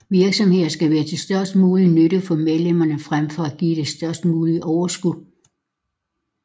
Virksomheden skal være til størst mulig nytte for medlemmerne frem for at give det størst mulige overskud